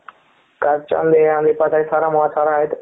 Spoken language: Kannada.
ಕರ್ಜು ಒಂದು ಒಂದು ಇಪತು ಐದು ಸಾವಿರ ಮೂವತು ಸಾವಿರ ಅಯ್ತು ,